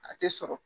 A tɛ sɔrɔ